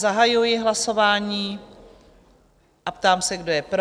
Zahajuji hlasování a ptám se, kdo je pro?